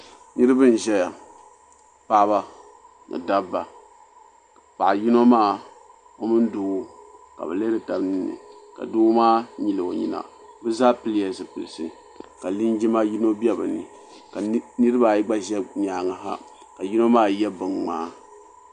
Niriba n ʒɛya paɣaba ni dabba paɣa yino maa o mini doo ka bɛ lihiri taba ninni ka doo maa nyili o nyina bɛ zaa pilila zipilsi ka linjima yino be bɛ ni ka niriba ayi gba ʒɛ bɛ nyaanga ha ka yino maa ye binŋmaa.